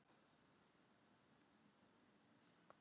Kitlar það hann ekkert í að langa út?